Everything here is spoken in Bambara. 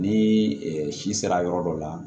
Ni si sera yɔrɔ dɔ la